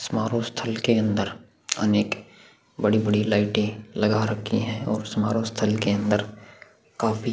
समारोह स्थल के अंदर अनेक बड़ी-बड़ी लाइटे लगा रखी और समारोह स्थल के अंदर काफी --